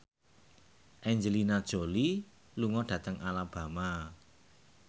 Angelina Jolie lunga dhateng Alabama